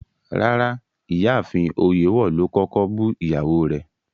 Rárá, Ìyáafin Oyèwọ̀ lo kọ̀kọ̀ bú iyàwó rẹ̀